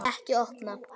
Ekki opna